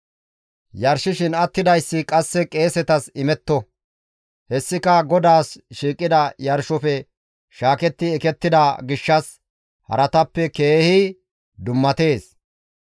Yarshishin attidayssi qasse qeesetas imetto; hessika GODAAS shiiqida yarshofe shaaketti ekettida gishshas haratappe keehi dummatees.